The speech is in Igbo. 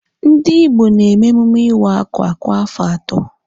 Ndị Igbo na-eme emume iwa akwa kwa afọ atọ.